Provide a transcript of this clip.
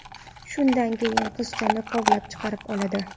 Shundan keyin qizchani kovlab chiqarib oladi.